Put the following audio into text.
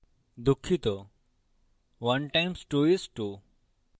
দুঃখিত 1 times 2 is 2